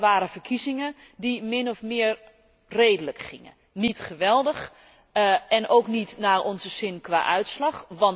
Dat waren verkiezingen die min of meer redelijk gingen, niet geweldig en ook niet naar onze zin qua uitslag.